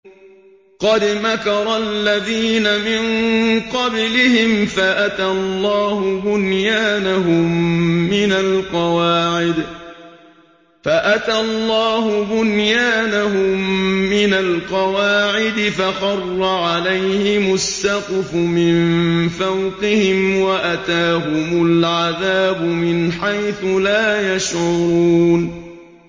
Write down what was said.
قَدْ مَكَرَ الَّذِينَ مِن قَبْلِهِمْ فَأَتَى اللَّهُ بُنْيَانَهُم مِّنَ الْقَوَاعِدِ فَخَرَّ عَلَيْهِمُ السَّقْفُ مِن فَوْقِهِمْ وَأَتَاهُمُ الْعَذَابُ مِنْ حَيْثُ لَا يَشْعُرُونَ